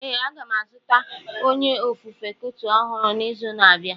Ee, a ga m azụta onye ofufe kuoto ọhụrụ n'izu na-abịa.